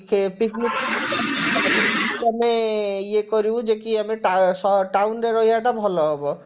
କେ picnic ଆଉ ବାକି ଆମେ ଇଏ କରିବୁ ଯେ କି ଆମେ ଟା ସହର town ରେ ରହିବାଟା ଭଲ ହବ